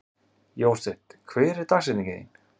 Jósteinn, hver er dagsetningin í dag?